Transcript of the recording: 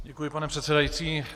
Děkuji, pane předsedající.